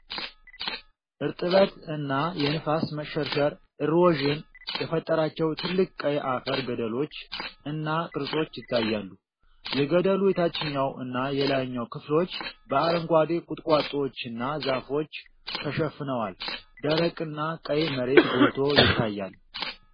እርጥበት እና የንፋስ መሸርሸር (erosion) የፈጠራቸው ጥልቅ ቀይ አፈር ገደሎች እና ቅርጾች ይታያሉ። የገደሉ የታችኛው እና የላይኛው ክፍሎች በአረንጓዴ ቁጥቋጦዎችና ዛፎች ተሸፍነዋል። ደረቅና ቀይ መሬት ጎልቶ ይታያል።